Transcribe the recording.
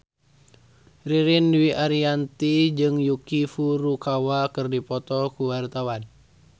Ririn Dwi Ariyanti jeung Yuki Furukawa keur dipoto ku wartawan